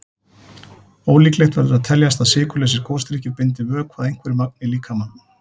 Ólíklegt verður að teljast að sykurlausir gosdrykkir bindi vökva að einhverju marki í líkamanum.